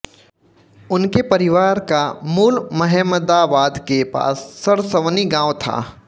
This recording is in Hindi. उनके परिवार का मूल महेमदावाद के पास सरसवनी गांव था